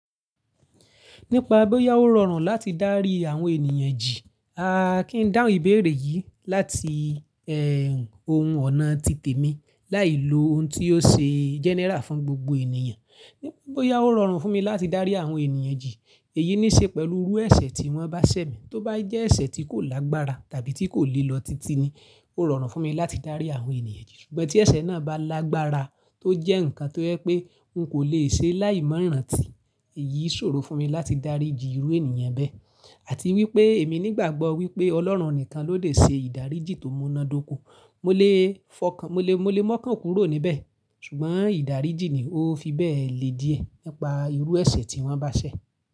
Nípa bóyá ó rọrùn láti dárí àwọn ènìyàn jì, a kí n dáhùn ìbéèrè yìí láti ohun ọ̀nà tìtẹ̀ mi láì lo ohun tí ó ṣe general fún gbogbo ènìyàn. Nípa bóyá ó rọrùn fún mi láti dárí àwọn ènìyàn jì, èyí ní í ṣe pẹ̀lú irú ẹ̀ṣẹ̀ tí wọ́n bá ṣẹ̀ mi, tó bá jẹ́ ẹ̀ṣẹ̀ tí kò lágbára tàbí tí kò lílọ titi ni ó rọrùn fún mi láti dárí àwọn ènìyàn jì. Ṣùgbọ́n tí ẹ̀ṣẹ̀ náà bá lágbára tó jẹ́ nǹkan tó je pé n kò lè ṣe láì mọ rántí, èyí ṣòro fún mi láti dárí jì irú ènìyàn bẹ́ẹ̀. Àti wípé èmi nígbàgbọ́ wípé Ọlọ́run nìkan ló lè ṣe ìdáríjì tó munadòko. Mó lè fọ́kan, mó lè, mó lè mọ́kàn kúrò níbẹ̀, ṣùgbọ́n ìdáríjì ni ó fi bẹ́ẹ̀ le díẹ̀ nípa irú ẹ̀ṣẹ̀ tí wọ́n bá ṣẹ̀.